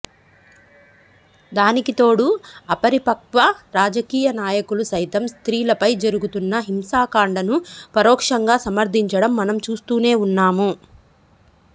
దానికి తోడు అపరిపక్వ రాజకీయ నాయకులు సైతం స్త్రీలపై జరుగుతున్న హింసాకాండను పరోక్షంగా సమర్థించడం మనం చూస్తూనే ఉన్నాం